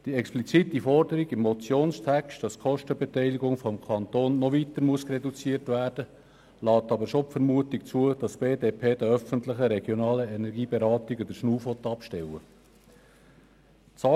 Die explizite Forderung im Motionstext, wonach die Kostenbeteiligung des Kantons noch weiter reduziert werden müsse, lässt die Vermutung zu, dass die BDP den öffentlichen regionalen Energieberatungen die Luft abschnüren will.